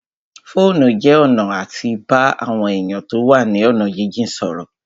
Fóònù jẹ́ ọ̀nà àti bá àwọn èèyàn tó wà ní ọ̀nà jínjìn sọ̀rọ̀